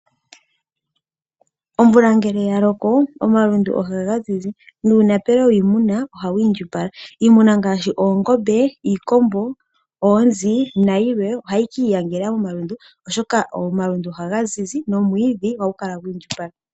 Omvula ngele ya loko, omalundu ohaga zizi nuunapelo wiimuna ohawu indjipala. Iimuna ngaashi oongombe, iikombo, oonzi nayilwe ohayi ki iyangela momalundu, oshoka omalundu ohaga zizi nomwiidhi ohagu kala gwi indjipala.